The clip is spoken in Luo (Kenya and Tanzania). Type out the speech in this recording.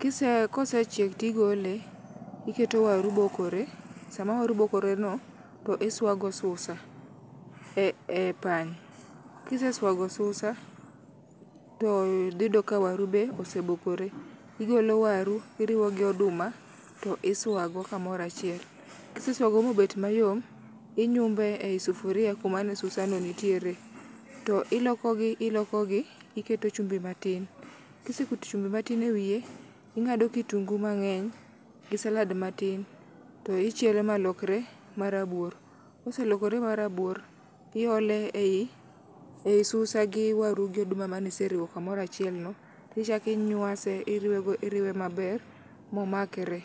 Kise kosechiek to igole, iketo waru bokore. Sama waru bokoreno, to isuago susa e pany. Kisesuago susa to dhi yudo ka waru be osebokore. Igolo waru iriwo gi oduma to isuago kamoro achiel. Kisesuago ma obet mayom, inyumo ei sufuria kumane susano nitie. To ilokogi ilokogi to iketo chumbi matin. Ka iseketo chumbi matin ewiye to ing'ado kitungu mang'eny gi salad matin, to ichielo malokre marabuor. Koselokre marabuor, iole ei ei susa gi waru gi oduma mane iseriwo kamoro achielno. Ichako inyuase iriwe maber momakre.